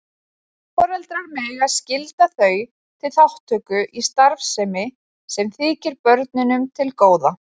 Foreldrar mega skylda þau til þátttöku í starfsemi sem þykir börnunum til góða.